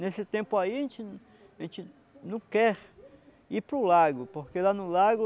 Nesse tempo aí, a gente a gente não quer ir para o lago, porque lá no lago,